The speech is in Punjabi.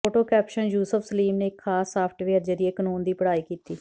ਫੋਟੋ ਕੈਪਸ਼ਨ ਯੂਸਫ ਸਲੀਮ ਨੇ ਇੱਕ ਖ਼ਾਸ ਸਾਫਟਵੇਅਰ ਜ਼ਰੀਏ ਕਾਨੂੰਨ ਦੀ ਪੜ੍ਹਾਈ ਕੀਤੀ